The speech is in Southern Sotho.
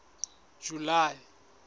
july